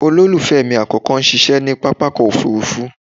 Olólùfẹ́ mi àkọ́kọ́ ń ṣiṣẹ́ ní pápákọ̀ òfuurufú